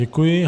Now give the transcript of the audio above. Děkuji.